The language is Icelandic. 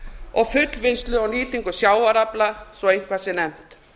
og fullvinnslu á nýtingu sjávarafla svo eitthvað sé nefnt